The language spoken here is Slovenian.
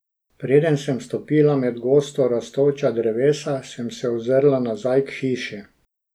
Preden sem stopila med gosto rastoča drevesa, sem se ozrla nazaj k hiši.